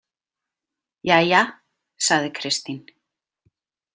Jæja, sagði Kristín.